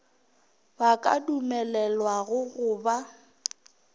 ba ka dumelelwago go ba